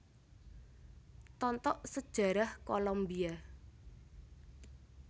Tontok Sejarah Kolombia